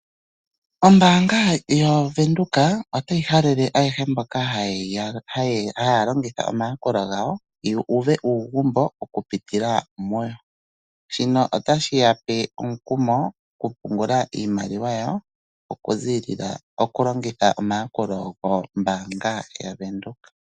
Ombaanga yoVenduka, otayi halele ayehe mboka haya longitha omayakulo gawo, yu uve uugumbo okupitila muyo. Shino otashi yape omukumo okupungula iimaliwa yawo, okulongitha omayakulo gombaanga yaVenduka.